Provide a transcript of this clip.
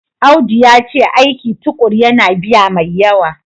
Audu yace aiki tukuru yana biya mai yawa.